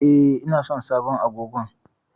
E, ina son sabon agogon.